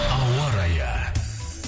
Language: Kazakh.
ауа райы